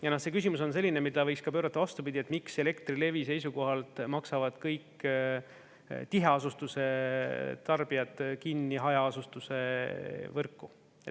Ja see küsimus on selline, mida võiks ka pöörata vastupidi, et miks Elektrilevi seisukohalt maksavad kõik tiheasustuse tarbijad kinni hajaasustuse võrku.